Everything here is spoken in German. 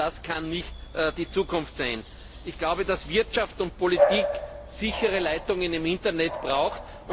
Und das kann nicht die Zukunft sein. Ich glaube, dass Wirtschaft und Politik sichere Leitungen im Internet brauchen.